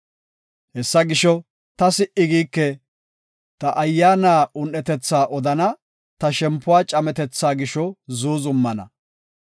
“Hessa gisho, ta si77i giike; ta ayyaana un7etetha odana; ta shempuwa cametethaa gisho zuuzumana.